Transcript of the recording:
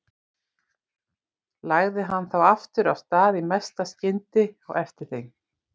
Lagði hann þá aftur af stað í mesta skyndi á eftir þeim.